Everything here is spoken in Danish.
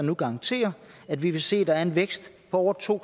nu garantere at vi vil se at der er en vækst på over to